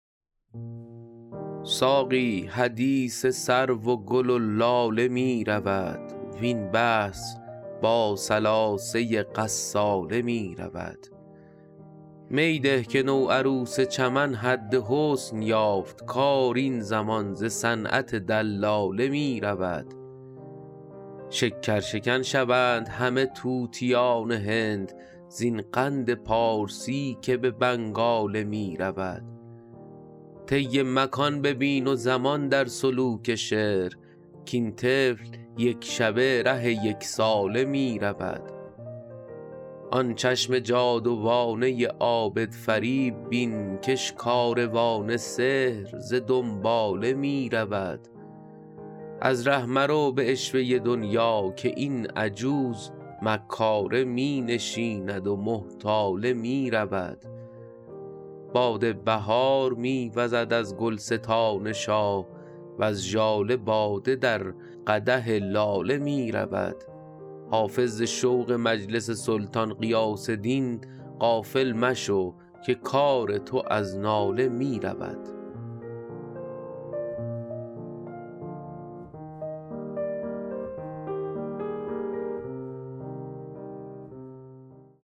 ساقی حدیث سرو و گل و لاله می رود وین بحث با ثلاثه غساله می رود می ده که نوعروس چمن حد حسن یافت کار این زمان ز صنعت دلاله می رود شکرشکن شوند همه طوطیان هند زین قند پارسی که به بنگاله می رود طی مکان ببین و زمان در سلوک شعر کاین طفل یک شبه ره یک ساله می رود آن چشم جادوانه عابدفریب بین کش کاروان سحر ز دنباله می رود از ره مرو به عشوه دنیا که این عجوز مکاره می نشیند و محتاله می رود باد بهار می وزد از گلستان شاه وز ژاله باده در قدح لاله می رود حافظ ز شوق مجلس سلطان غیاث دین غافل مشو که کار تو از ناله می رود